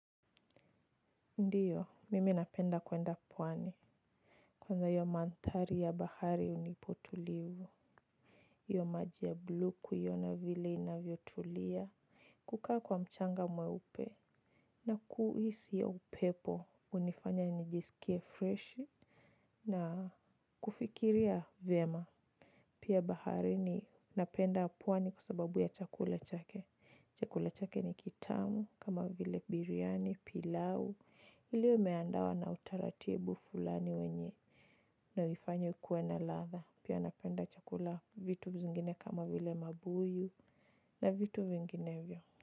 Ndiyo, mimi napenda kuenda pwani. Kwanza hiyo mandhari ya bahari hunipa utulivu. Hiyo maji ya blue kuiona vile inavyotulia. Kukaa kwa mchanga mweupe. Na kuhisi hiyo upepo, kunifanya nijisikie freshi. Na kufikiria vyema. Pia baharini napenda pwani kwa sababu ya chakula chake. Chakula chake ni kitamu, kama vile biriani, pilau. Ile imeandawa na utaratibu fulani wenye na uifanye kuwe na ladha. Pia napenda chakula, vitu vingine kama vile mabuyu na vitu vinginevyo.